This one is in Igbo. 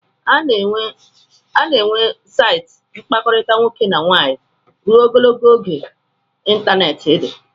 A ga-enwe saịtị mkpakọrịta nwoke na nwaanyị n'ịntanetị ruo Ogologo oge ịntanetị dị